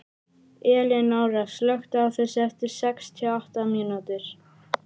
Elinóra, slökktu á þessu eftir sextíu og átta mínútur.